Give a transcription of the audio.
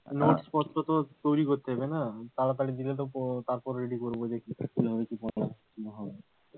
Notes পত্র তো তৈরি করতে হবে না তাড়াতাড়ি দিলে তো তারপর ready করব দেখি